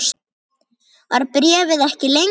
Var bréfið ekki lengra?